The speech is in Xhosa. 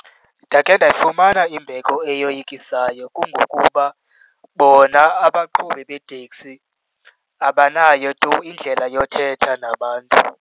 Ndakhe ndafumana imbeko eyoyikisa kungokuba bona abaqhubi beeteksi abanayo tu indlela yothetha nabantu.